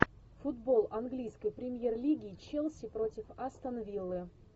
футбол английской премьер лиги челси против астон виллы